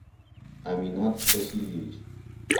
аминат васильевич